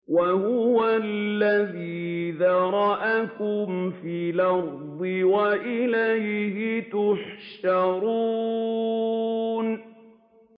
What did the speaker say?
وَهُوَ الَّذِي ذَرَأَكُمْ فِي الْأَرْضِ وَإِلَيْهِ تُحْشَرُونَ